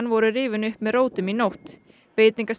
voru rifin upp með rótum í nótt